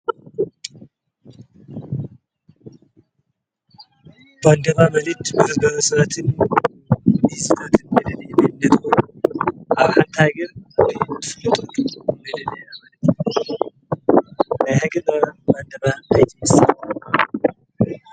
ባንዴራ ኣብ ሓንቲ ሃገር ......ጠቅላላ ኣይስማዕን ......